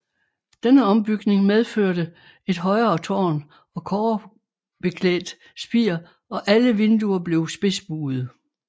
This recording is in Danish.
Denne ombygning medførte et højere tårn og kobberklædt spir og alle vinduer blev spidsbuede